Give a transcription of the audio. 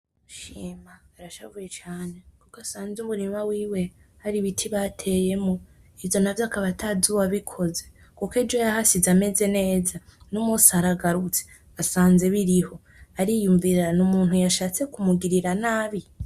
Shima arashavuye cane kuko asanze umurima wiwe hari ibiti bateyemwo, ivyo navyo akaba atazi uwabikoze, kuko ejo yahasize ameze neza nomunsi aragarutse asanze biriho, ariyumvira : "Ni umuntu yashatse kumugirira nabi?".